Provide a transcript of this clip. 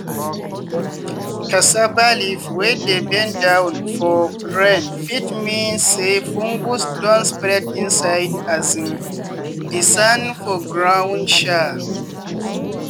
cassava leaf wey dey bend down for rain fit mean say fungus don spread inside um di sand for ground. um